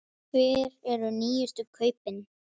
Hver eru nýjustu kaupin?